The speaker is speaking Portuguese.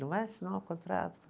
Não vai assinar o contrato?